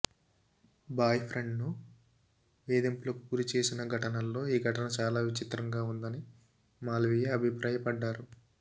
భాయ్ఫ్రెండ్ను వేధింపులకు గురి చేసిన ఘటనల్లో ఈ ఘటన చాలా విచిత్రంగా ఉందని మాల్వియా అభిప్రాయపడ్డారు